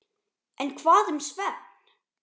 En hvað um svefn?